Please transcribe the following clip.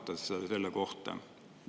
Mis te arvate selle kohta?